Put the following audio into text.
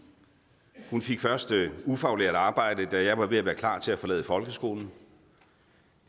hun fik først ufaglært arbejde da jeg var ved at være klar til at forlade folkeskolen